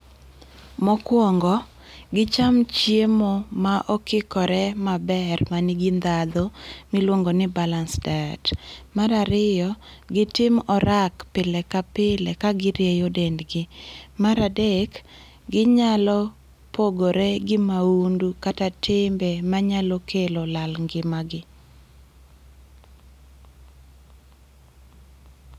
Mokwongo, gicham chiemo mokikore maber manigi ndhadhu miluongoni balance diet. Mar ariyo, gitim orak pile ka pile ka girieyo dendgi. Mar adek, ginyalo pogore gi maundu kata timbe manyalo kelo lal ngimagi.